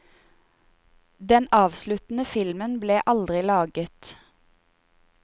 Den avsluttende filmen ble aldri laget.